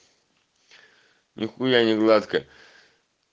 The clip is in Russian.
нехуя не гладкая